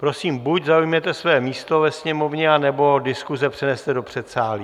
Prosím, buď zaujměte své místo ve sněmovně, anebo diskuze přenese do předsálí.